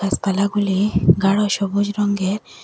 গাসপালাগুলি গাঢ় সবুজ রঙের।